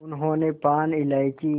उन्होंने पान इलायची